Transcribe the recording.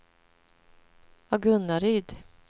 Agunnaryd